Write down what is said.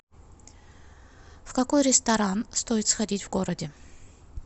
в какой ресторан стоит сходить в городе